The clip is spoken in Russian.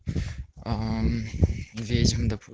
аа мм ведьм допу